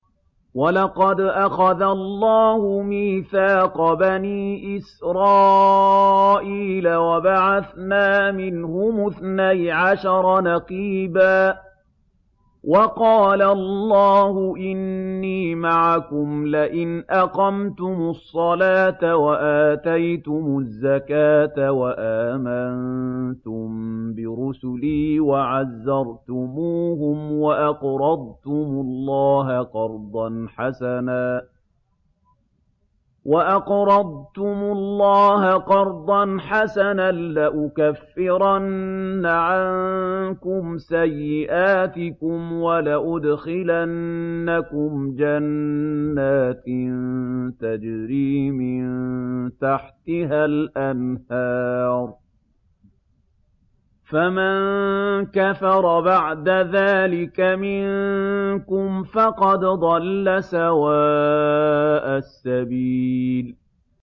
۞ وَلَقَدْ أَخَذَ اللَّهُ مِيثَاقَ بَنِي إِسْرَائِيلَ وَبَعَثْنَا مِنْهُمُ اثْنَيْ عَشَرَ نَقِيبًا ۖ وَقَالَ اللَّهُ إِنِّي مَعَكُمْ ۖ لَئِنْ أَقَمْتُمُ الصَّلَاةَ وَآتَيْتُمُ الزَّكَاةَ وَآمَنتُم بِرُسُلِي وَعَزَّرْتُمُوهُمْ وَأَقْرَضْتُمُ اللَّهَ قَرْضًا حَسَنًا لَّأُكَفِّرَنَّ عَنكُمْ سَيِّئَاتِكُمْ وَلَأُدْخِلَنَّكُمْ جَنَّاتٍ تَجْرِي مِن تَحْتِهَا الْأَنْهَارُ ۚ فَمَن كَفَرَ بَعْدَ ذَٰلِكَ مِنكُمْ فَقَدْ ضَلَّ سَوَاءَ السَّبِيلِ